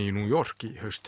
í New York í haust